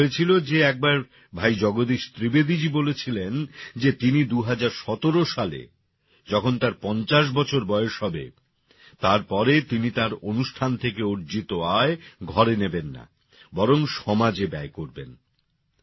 এমনটা হয়েছিল যে একবার ভাই জগদীশ ত্রিবেদীজী বলেছিলেন যে তিনি ২০১৭ সালে যখন তাঁর ৫০ বছর বয়স হবে তারপরে তিনি তাঁর অনুষ্ঠান থেকে অর্জিত আয় ঘরে নেবেন না বরং সমাজে ব্যয় করবেন